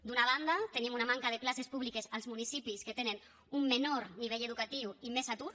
d’una banda tenim una manca de places públiques als municipis que tenen un menor nivell educatiu i més atur